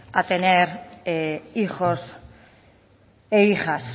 a tener hijos e hijas